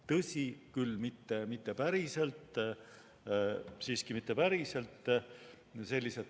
Tõsi küll, mitte päriselt, siiski mitte päriselt.